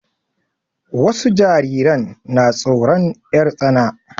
Wasu jariran na tsoron 'yar tsana.